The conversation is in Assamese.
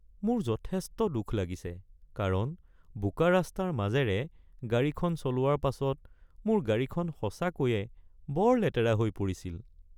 মোৰ যথেষ্ট দুখ লাগিছে কাৰণ বোকা ৰাস্তাৰ মাজেৰে গাড়ীখন চলোৱাৰ পাছত মোৰ গাড়ীখন সঁচাকৈয়ে বৰ লেতেৰা হৈ পৰিছিল।